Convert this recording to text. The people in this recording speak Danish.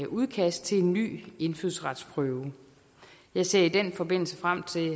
udkast til en ny indfødsretsprøve jeg ser i den forbindelse frem til